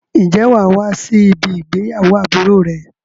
Ǹjẹ́ wà á wá sí ibí ìgbéyàwó àbúrò rẹ?